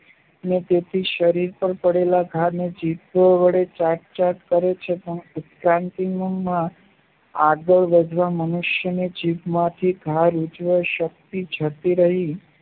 અને તેથી શરીર પાર કરેલા ધાને થી તે વડે ચાટ ચાટ કરે છે તેની ઉમંગ માં આગળ વધવા મનુષ્યની જીભમાંથી ધાર જતી રહીં